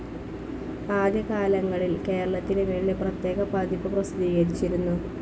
ആദ്യ കാലങ്ങളിൽ കേരളത്തിനുവേണ്ടി പ്രത്യേക പതിപ്പ് പ്രസിദ്ധീകരിച്ചിരുന്നു.